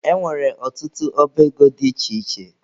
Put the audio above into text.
E nwere ọtụtụ ọba ego dị iche iche